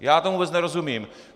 Já tomu vůbec nerozumím.